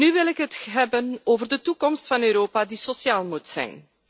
Nu wil ik het hebben over de toekomst van Europa die sociaal moet zijn.